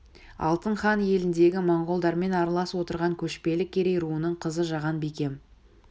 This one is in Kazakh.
алтын хан еліндегі монғолдармен аралас отырған көшпелі керей руының қызы жаған бикем